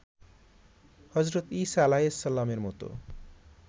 হজরত ইসা আ. -এর মতো